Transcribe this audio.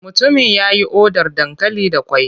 Mutumin ya yi odar dankali da ƙwai.